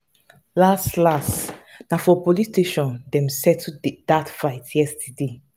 las las na for police station dem settle dat fight yesterday.